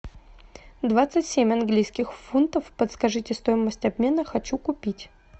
двадцать семь английских фунтов подскажите стоимость обмена хочу купить